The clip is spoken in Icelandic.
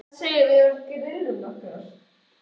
Hvað segirðu um að við grillum nokkrar?